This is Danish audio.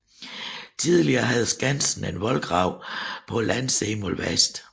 Tidligere havde Skansen en voldgrav på landsiden mod vest